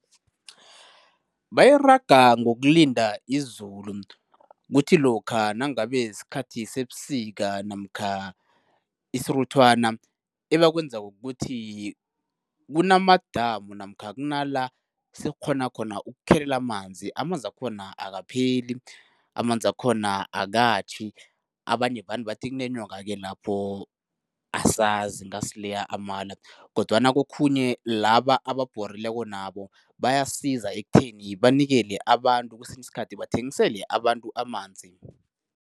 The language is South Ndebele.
Bayiraga ngokulinda izulu. Kuthi lokha nangabe sikhathi sebusika namkha isiruthwana, ebakwenzako kukuthi kunamadamu namkha kunala sekukghonwa khona ukuthelelela amanzi. Amanzakhona akapheli, amanzkhona akatjhi, abanye vane bathi kunenyoka-ke lapho, asazi, ngasileya amala kodwana kokhunye laba ababhorileko nabo bayasiza ekutheni banikele abantu, kwesinye isikhathi bathengisele abantu amanzi.